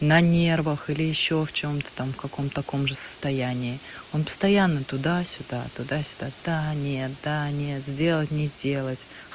на нервах или ещё в чём-то там в каком-то таком же состоянии он постоянно туда-сюда туда-сюда да нет да нет сделать не сделать